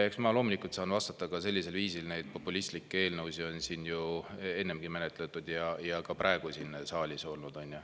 Eks ma loomulikult saan vastata ka sellisel viisil, et neid populistlikke eelnõusid on siin ju ennegi menetletud ja ka praegu on neid siin saalis olnud.